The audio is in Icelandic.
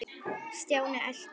Stjáni elti.